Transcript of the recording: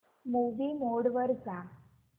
movie mode वर जा